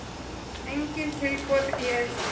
Engin tilboð í Eið Smára